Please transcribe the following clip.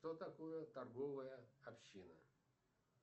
что такое торговая община